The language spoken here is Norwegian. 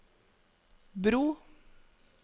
bro